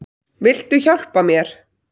Viltu hjálpa mér?